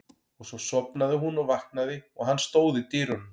Og svo sofnaði hún og vaknaði og hann stóð í dyrunum.